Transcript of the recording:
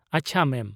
ᱟᱪᱪᱷᱟ, ᱢᱮᱢ ᱾